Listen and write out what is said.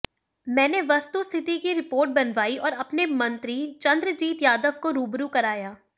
मैंने वस्तुस्थिति की रिपोर्ट बनवाई और अपने मंत्री चंद्रजीत यादव को रूबरू कराया